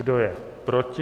Kdo je proti?